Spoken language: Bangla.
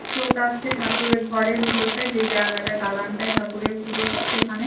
চোখ আঁকছে ঠাকুরের ঘরের ভিতরটাই যে জায়গাটায় দালানটাই ঠাকুরের পুজো হয় সেখানেই